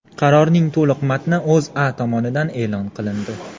Qarorning to‘liq matni O‘zA tomonidan e’lon qilindi .